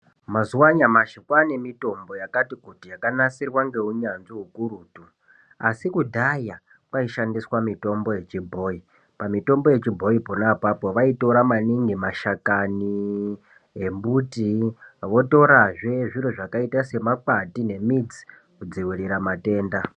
Mazuwa anyamashi kwane mitombo yakati kuti yakanasirirwa ngeunyanzvi ukurutu asi kudhaya kwaishandiswa mitombo yechibhoyi pamitombo yechibhoyipo vaitora maningi mashakani embuti votorazve zviro zvakaita semakwande nemudzi kudzivirira matenda.